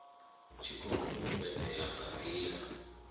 tshi khou fhulufhedzea nga ndila